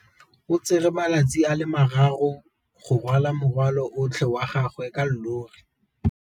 O tsere malatsi a le marraro go rwala morwalo otlhe wa gagwe ka llori.